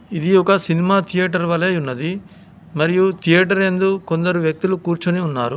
ఇది ఒక cinema theatre వలెయున్నది. మరియు థియేటర్ యందు కొందరు వ్యక్తులు కూర్చొని ఉన్నారు.